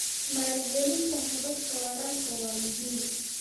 Maalgelinta hababka waraabka waa muhiim.